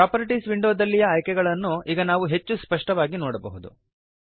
properties ವಿಂಡೋದಲ್ಲಿಯ ಆಯ್ಕೆಗಳನ್ನು ಈಗ ನಾವು ಹೆಚ್ಚು ಸ್ಪಷ್ಟವಾಗಿ ನೋಡಬಹುದು